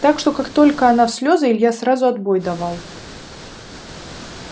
так что как только она в слёзы илья сразу отбой давал